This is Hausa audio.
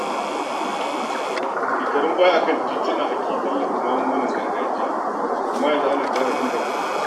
Shekarun baya a kan tituna ake tallata maganin gargajiya amma yanzu ana ƙara inganta shi.